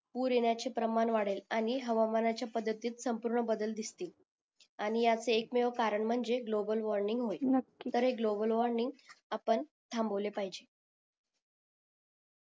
पूर येण्याचे प्रमाण वाढेल आणि हवामानाच्या पद्धतीत संपूर्ण बदल दिसतील आणि ह्याचा एकमेव कारण म्हणजे ग्लोबल वॉर्मिंग होईल तर हे ग्लोबल वॉर्मिंग आपण थांबवले पाहिजे